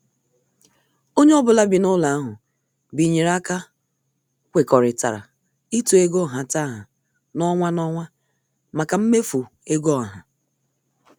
Onye ọ bụla bi n' ụlọ ahụ binyere aka kwekọrịtara ịtụ ego nhataha n' ọnwa n' ọnwa maka mmefu ego ọha.